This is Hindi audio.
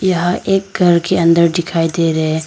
यहां एक घर के अंदर दिखाई दे रहे--